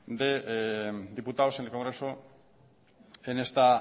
de diputados en el congreso en esta